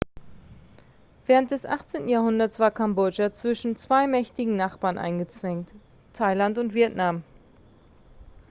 während des 18. jahrhunderts war kambodscha zwischen zwei mächtigen nachbarn eingezwängt thailand und vietnam